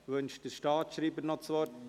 Wünscht der Staatsschreiber noch das Wort?